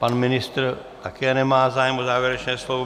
Pan ministr také nemá zájem o závěrečné slovo.